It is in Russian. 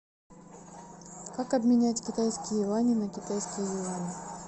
как обменять китайские юани на китайские юани